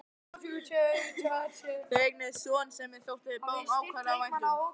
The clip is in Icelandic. Þau eignuðust son sem þeim þótti báðum ákaflega vænt um.